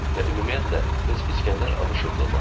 Və ümumiyyətlə heç İsgəndər Abuşov da olmasın.